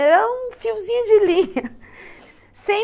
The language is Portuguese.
Era um fiozinho de linha, sem